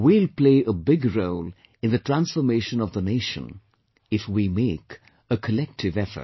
We will play a big role in the transformation of the nation, if we make a collective effort